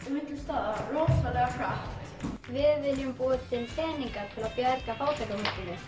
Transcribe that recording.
milli staða rosalega hratt við viljum búa til peninga til að bjarga fátækum